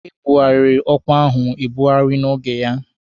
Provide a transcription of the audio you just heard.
E bughariri ọkwa ahụ ebughari n'oge ya